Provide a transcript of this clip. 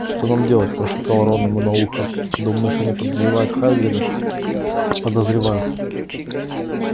что нам делать прошептал рон ему на ухо думаешь они подозревают хагрида подозревают